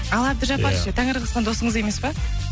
ал әбдіжаппар ше тәңір қосқан досыңыз емес пе